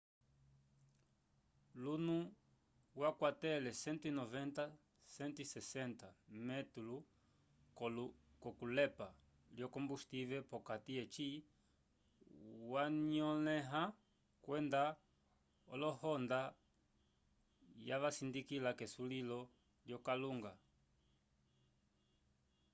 luno wakwatele 120-160 metelo k'okulepa lyo-kombustivel p'okati eci yanyolẽha kwenda olohonda yavasindika k'esulilo lyokalunga